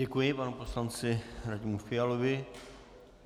Děkuji panu poslanci Radimu Fialovi.